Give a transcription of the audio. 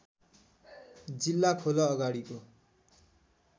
जिल्ला खोल अगाडिको